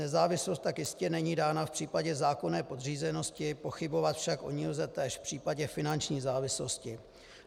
Nezávislost tak jistě není dána v případě zákonné podřízenosti, pochybovat však o ní lze též v případě finanční závislosti.